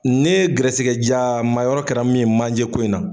Ne gɛrɛsɛgɛ jaa maa yɔrɔ kɛra min ye manjɛ ko in na.